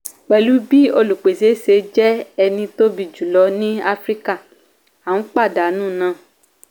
pẹ̀lú bí olùpèsè ṣe jẹ́ eni tóbi jù lọ ní africa a ń pàdánù nà.